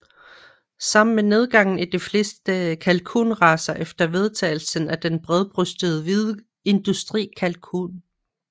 Sammen med nedgangen i de fleste kalkun racer efter vedtagelsen af den bredbrystede hvide industri kalkun